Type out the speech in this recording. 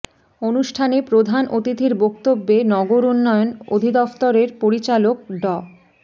অনুষ্ঠানে প্রধান অতিথির বক্তব্যে নগর উন্নয়ন অধিদফতরের পরিচালক ড